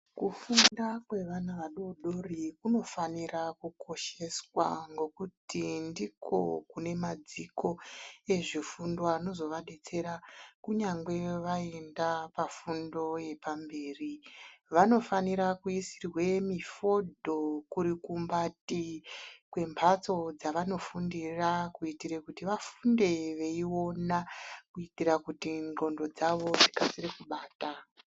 Kufunda kwevana vadori dori kunofanira kukosheswa ngokuti ndiko kune madziko ezvefundo anozovabetsera kunyangwe vaenda pafundo yepamberi. Vanofanira kuisirwe mifodho kurikumbati kwembatso dzavanofundira kuitira kuti vafunde veiona kuitira kuti ndxondo dzavo dzikasire kubata.